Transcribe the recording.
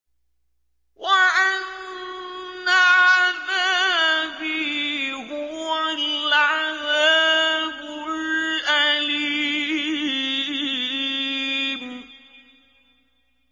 وَأَنَّ عَذَابِي هُوَ الْعَذَابُ الْأَلِيمُ